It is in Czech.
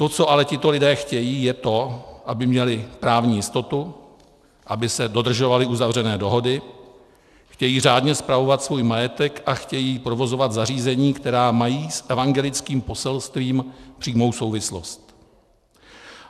To, co ale tito lidé chtějí, je to, aby měli právní jistotu, aby se dodržovaly uzavřené dohody, chtějí řádně spravovat svůj majetek a chtějí provozovat zařízení, která mají s evangelickým poselstvím přímou souvislost.